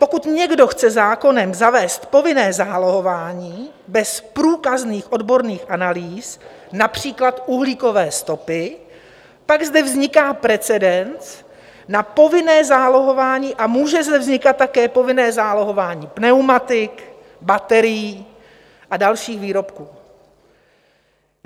Pokud někdo chce zákonem zavést povinné zálohování bez průkazných odborných analýz, například uhlíkové stopy, pak zde vzniká precedens na povinné zálohování a může zde vznikat také povinné zálohování pneumatik, baterií a dalších výrobků.